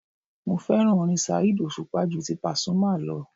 Mo fẹ́ràn orin Saheed òṣùpá ju ti Pasuma lọ